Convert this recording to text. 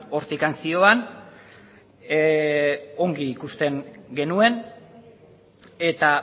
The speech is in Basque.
hortik zioan ongi ikusten genuen eta